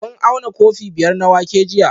Kun auna kofi biyar na wake jiya?